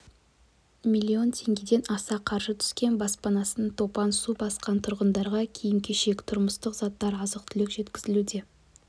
миллион теңгеден аса қаржы түскен баспанасын топан су басқан тұрғындарға киім-кешек тұрмыстық заттар азық-түлік жеткізілуде